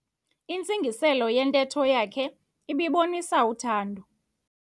Intsingiselo yentetho yakhe ibibonisa uthando.